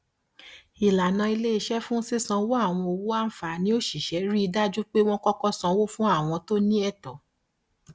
ìlànà iléiṣẹ fún sísanwó àwọn owó àǹfààní òṣìṣẹ rí i dájú pé wọn kọkọ san fún àwọn tó ní ẹtọ